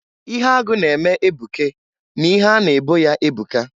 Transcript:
Ihe agụ na-eme ebuke m'ihe a na-ebo ya ebuka.